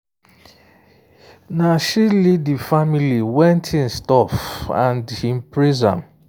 na she lead the family when things tough and and him praise am